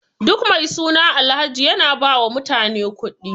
Duk wani mai suna Alhaji yana ba mutane kuɗi.